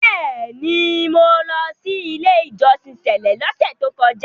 Bẹ́ẹ̀ni, mo lọ sí “ ilé-ìjọsìn sẹ̀lẹ́” lọ́sẹ̀ tókọjá.